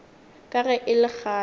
ka ge e le kgale